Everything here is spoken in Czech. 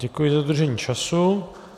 Děkuji za dodržení času.